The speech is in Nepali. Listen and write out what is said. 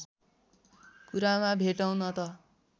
कुरामा भेटौँ न त